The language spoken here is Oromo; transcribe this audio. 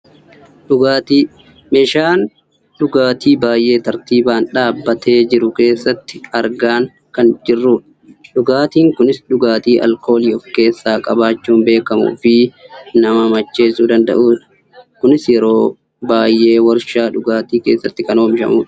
dhugaatii: meeshaa dhugaatii baayyee tartiibaan dhaabbatee jiru keessatti argaan kan jirrudha. dhugaatiin kunis dhugaatii aalkoolii of keessaa qabachuun beekkamuufi nama macheessuu danda'udha. kunis yeroo baayyee waarshaa dhugaatii keessatti kan oomishamudha.